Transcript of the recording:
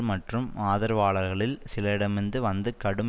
மற்றும் ஆதரவாளர்களில் சிலரிடமிருந்து வந்த கடும்